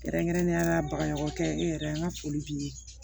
Kɛrɛnkɛrɛnnenya la baɲumankɛ e yɛrɛ an ka foli b'i ye